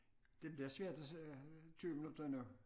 Det bliver svært at sidde her 20 minutter endnu